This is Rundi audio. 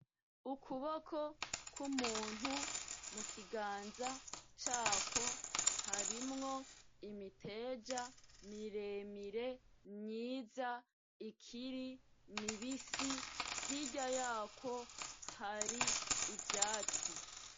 Ukuboko kw’umuntu, mu kiganza cakwo harimwo imiteja miremire, myiza, ikiri mibisi hirya yakwo hari ivyatsi.